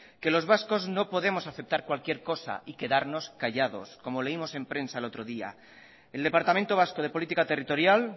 los vascos no podemos aceptar cualquier cosa y quedarnos callados como leímos en presa el otro día el departamento vasco de política territorial